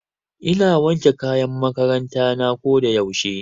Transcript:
Ina wanke kayan makaranta na ko da yaushe.